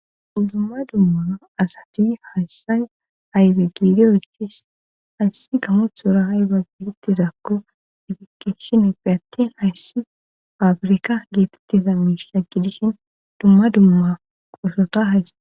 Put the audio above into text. Uddumma dummaa asati hayssay ayzagiidiy ichis hayssi gamothora hayba geetettizakko efikeshin eppi attin hayssi faafrika geetettiza miishagi dishin dumma dumma qosota hays